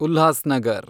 Ulhasnagar